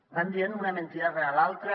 van dient una mentida rere l’altra